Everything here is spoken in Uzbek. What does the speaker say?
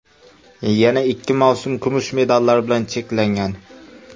Yana ikki mavsum kumush medallar bilan cheklangan.